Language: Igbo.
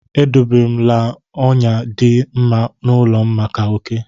E dobe la m ọnyà dị mma n’ụlọ m maka oké.